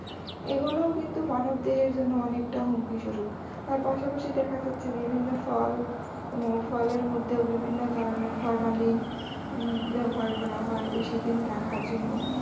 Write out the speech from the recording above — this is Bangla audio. এই গুলাও কিন্তু মানব দেহের জন্য অনেকটা হুমকি স্বরূপ। আর পাশাপাশি দেখা যাচ্ছে যে বিভিন্ন ফল ফলের মধ্যেও বিভিন্ন ধরনের formalin ব্যাবহার করা হয় বেশিদিন রাখার জন্য।